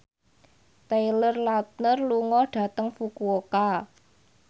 Taylor Lautner lunga dhateng Fukuoka